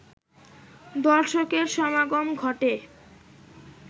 দর্শকের সমাগম ঘটে